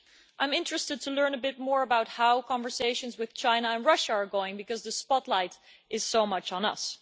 I'm interested to learn a bit more about how conversations with China and Russia are going, because the spotlight is so much on us.